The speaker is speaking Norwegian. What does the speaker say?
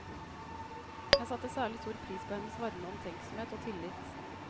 Jeg satte særlig stor pris på hennes varme omtenksomhet og tillit.